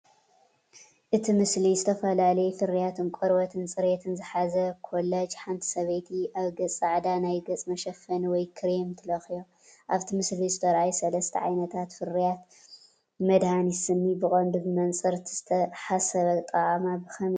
እቲ ምስሊ ዝተፈላለዩ ፍርያት ቆርበትን ጽሬትን ዝሓዘ ኮላጅ ሓንቲ ሰበይቲ ኣብ ገጻ ጻዕዳ ናይ ገጽ መሸፈኒ ወይ ክሬም ትለኽዮ። ኣብቲ ምስሊ ዝተርኣዩ ሰለስተ ዓይነታት ፍርያት (ቫዝሊን፡ መድሃኒት ስኒ) ብቐንዱ ብመንጽር እቲ ዝተሓሰበ ኣጠቓቕማ ብኸመይ ይፈላለዩ?